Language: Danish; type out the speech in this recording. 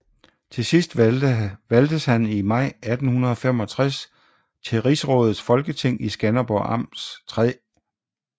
Til sidst valgtes han i maj 1865 til Rigsrådets Folketing i Skanderborg Amts 3